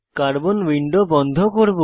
carbon window বন্ধ করব